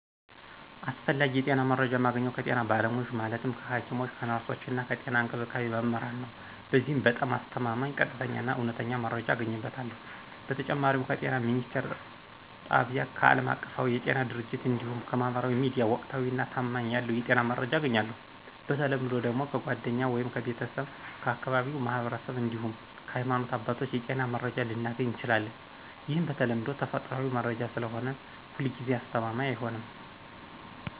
አስፈላጊ የጤና መረጃ ማገኘው ከጤና ባለሙያዎች ማለትም ከሐኪሞች፣ ከነርሶች እና ከጤና እንክብካቤ መምህራን ነዉ። በዚህም በጣም አስተማማኝ፣ ቀጥተኛ እና እውነተኛ መረጃ አገኝበታለሁ። በተጨማሪም ከጤና ሚኒስትር ጣቢያ፣ ከአለማቀፋዊ የጤና ድርጅቶች እንዲሁም ከማህበራዊ ሚዲያ ወቅታዊና ታማኝነት ያለው የጤና መረጃ አገኛለሁ። በተለምዶ ደግሞ ከጓደኛ ወይም ከቤተሰብ፣ ከአካባቢው ማህበረሰብ እንዲሁም ከሀይማኖት አባቶች የጤና መረጃ ልናገኝ እንችላለን። ይህም በተለምዶ ተፈጥሯዊ መረጃ ስለሆነ ሁልጊዜ አስተማማኝ አይሆንም።